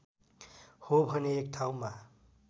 हो भने एक ठाउँमा